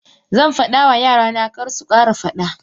Zanfada ma yarana karsukara fada.